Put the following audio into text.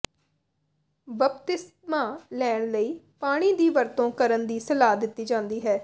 ਬਪਤਿਸਮਾ ਲੈਣ ਲਈ ਪਾਣੀ ਦੀ ਵਰਤੋਂ ਕਰਨ ਦੀ ਸਲਾਹ ਦਿੱਤੀ ਜਾਂਦੀ ਹੈ